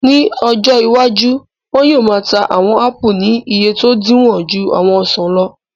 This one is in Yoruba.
Ní ọjọ́ iwájú, wọn yóò máa ta àwọn áàpù ní iye tó dínwó ju àwọn ọsàn lọ